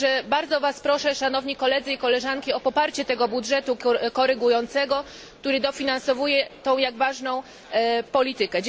Także bardzo was proszę, szanowni koledzy i koleżanki, o poparcie tego budżetu korygującego, który dofinansowuje tę tak ważną politykę.